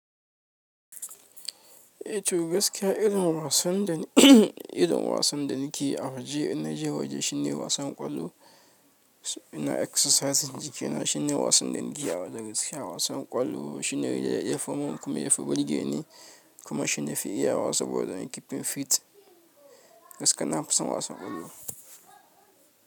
Eh to gaskiya, irin wasan da irin wasan da nake a waje ina je waje shine wasan ƙwallo, suna exercise jiki na shine wasan da nake yawan da gaskiya wasan ƙwallo shine yafimin kuma yafi birge ne kuma shi nafi iyawa saboda keeping fit gaskiya nafi son wasan ƙwallo.